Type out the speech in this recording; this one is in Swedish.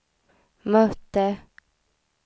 mötte